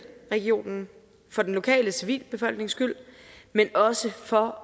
regionen for den lokale civilbefolknings skyld men også for